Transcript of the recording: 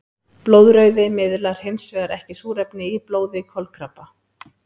Blóðrauði miðlar hinsvegar ekki súrefni í blóði kolkrabba.